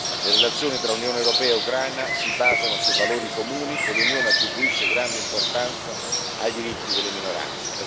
Le relazioni tra Unione europea e Ucraina si basano su valori comuni e l'Unione attribuisce grande importanza ai diritti delle minoranze.